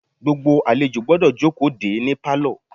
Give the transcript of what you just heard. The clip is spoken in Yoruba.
Gbogbo àlejò gbọ́dọ̀ jókòó de é ní pálọ̀.